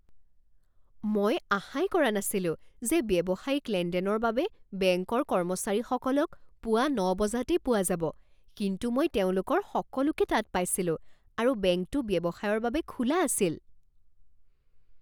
মই আশাই কৰা নাছিলোঁ যে ব্যৱসায়িক লেনদেনৰ বাবে বেংকৰ কৰ্মচাৰীসকলক পুৱা ন বজাতেই পোৱা যাব কিন্তু মই তেওঁলোকৰ সকলোকে তাত পাইছিলোঁ আৰু বেংকটো ব্যৱসায়ৰ বাবে খোলা আছিল